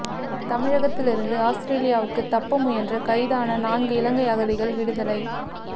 தமிழகத்திலிருந்து அவுஸ்திரேலியாவுக்கு தப்ப முயன்று கைதான நான்கு இலங்கை அகதிகள் விடுதலை